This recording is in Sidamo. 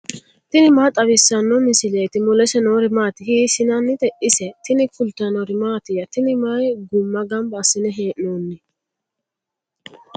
tini maa xawissanno misileeti ? mulese noori maati ? hiissinannite ise ? tini kultannori mattiya? tini may gumma ganbba asiinne hee'noonni?